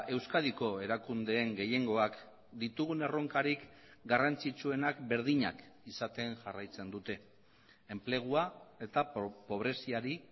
euskadiko erakundeen gehiengoak ditugun erronkarik garrantzitsuenak berdinak izaten jarraitzen dute enplegua eta pobreziari